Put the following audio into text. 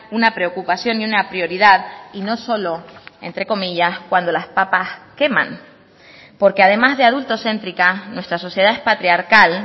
una preocupación y una prioridad y no solo entre comillas cuando las papas queman porque además de adultocéntrica nuestra sociedad patriarcal